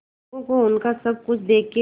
लोगों को उनका सब कुछ देके